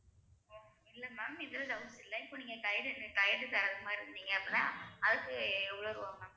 இல்ல ma'am இதுல doubts இல்லை இப்ப நீங்க guide உ guide தர்றது மாதிரி இருந்தீங்க அப்படின்னா அதுக்கு எவ்வளவு ரூவா ma'am